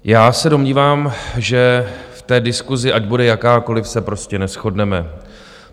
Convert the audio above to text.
Já se domnívám, že v té diskusi, ať bude jakákoliv, se prostě neshodneme.